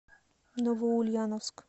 новоульяновск